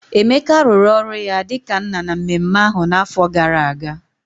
Emeka rụrụ ọrụ ya dị ka nna na mmemme ahụ n'afọ gara aga